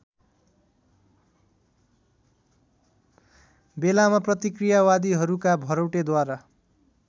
बेलामा प्रतिक्रियावादीहरूका भरौटेद्वारा